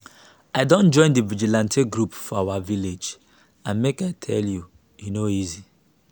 i don join the vigilante group for our village and make i tell you e no easy